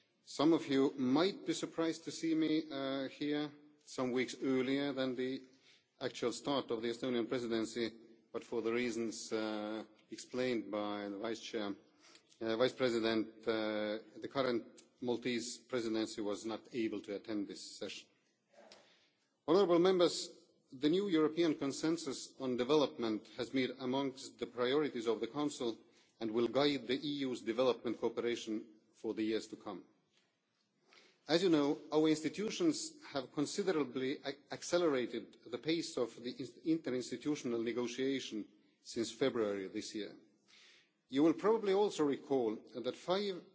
Some of you might be surprised to see me here some weeks earlier than the actual start of the Estonian Presidency, but for the reasons explained by the Vice President, the current Maltese Presidency was not able to attend this session. The new European consensus on development has been amongst the priorities of the Council and will guide the EU's development cooperation for the years to come. As you know, our institutions have considerably accelerated the pace of the interinstitutional negotiations since February this year. You will probably also recall that